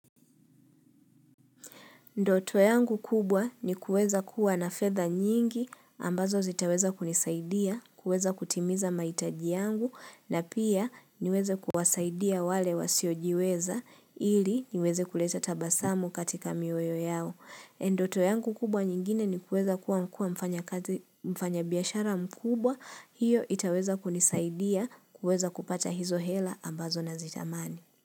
Ndoto yangu kubwa ni kuweza kuwa na fedha nyingi ambazo zitaweza kunisaidia kuweza kutimiza mahitaji yangu na pia niweze kuwasaidia wale wasiojiweza ili niweze kuleza tabasamu katika mioyo yao. Ndoto yangu kubwa nyingine ni kuweza kuwa mfanya biashara mkubwa hiyo itaweza kunisaidia kuweza kupata hizo hela ambazo nazitamani.